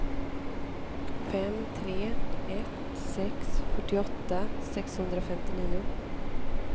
fem tre ett sex fyrtioåtta sexhundrafemtionio